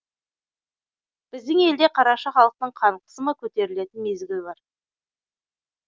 біздің елде қараша халықтың қан қысымы көтерілетін мезгіл бар